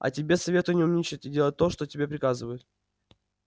а тебе советую не умничать и делать то что тебе приказывают